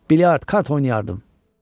Bilyard kart oynayardım.